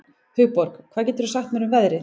Hugborg, hvað geturðu sagt mér um veðrið?